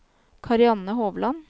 Karianne Hovland